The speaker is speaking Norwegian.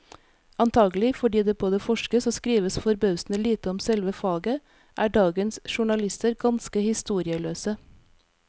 Antagelig fordi det både forskes og skrives forbausende lite om selve faget, er dagens journalister ganske historieløse.